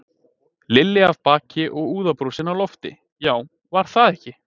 Lilli af baki og úðabrúsinn á loft, já, var það ekki!